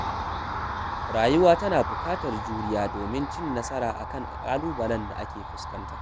Rayuwa tana buƙatar juriya domin cin nasara a kan ƙalubalen da ake fuskanta.